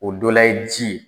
O dɔ la ye ji ye.